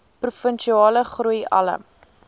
provinsiale groei alle